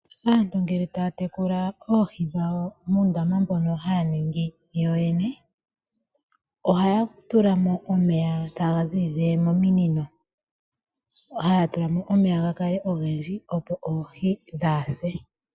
Aantu ngele ta ya tekula oohi dhawo muundama mbono haya ningi yoyene oha yatulamo omeye ta ga ziilile mominino, ha ya tulamo omeya ga kale ogendji opo oohi dhaa hase.